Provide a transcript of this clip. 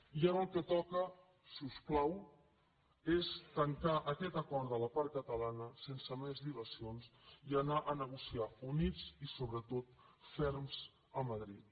i ara el que toca si us plau és tancar aquest acord de la part catalana sense més dilacions i anar a negociar units i sobretot ferms a madrid